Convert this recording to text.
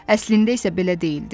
Əslində isə belə deyildi.